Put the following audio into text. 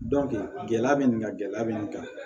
gɛlɛya bɛ nin kan gɛlɛya bɛ nin kan